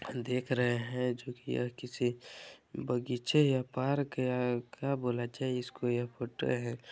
देख रहे है जो की किसी बगीचे या पार्क या क्या बोला जाये इसको यह फोटो है।